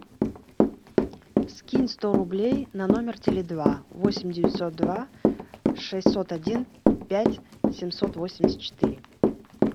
скинь сто рублей на номер теле два восемь девятьсот два шестьсот один пять семьсот восемьдесят четыре